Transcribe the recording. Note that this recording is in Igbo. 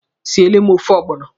Siele m ofe ọgbọnọ!